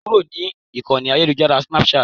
Kúrò ní Ìkọ́ni ayélujára Snapchat.